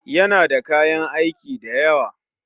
Yana da kayan aiki dayawa